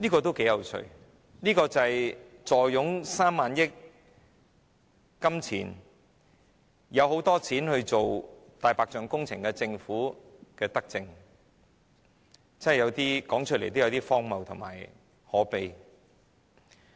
這是頗有趣的，這就是坐擁3萬億元儲備，有很多金錢進行"大白象"工程的政府的德政，說出來也真的有點荒謬及可悲。